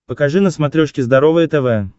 покажи на смотрешке здоровое тв